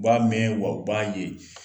U b'a mɛɛ wa u b'a ye.